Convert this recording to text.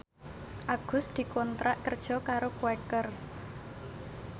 Agus dikontrak kerja karo Quaker